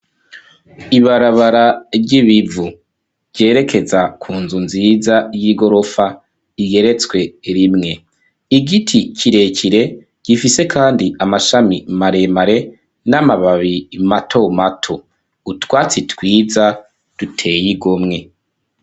Ibarabara ry'ibivu ryerekeza ku nzu nziza y'igorofa iyeretswe rimwe .Igiti kirekire gifise kandi amashami maremare n'amababi matomato utwatsi twiza duteye igomwe.